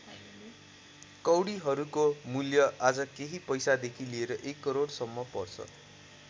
कौडीहरूको मूल्य आज केही पैसादेखि लिएर एक करोडसम्म पर्छ।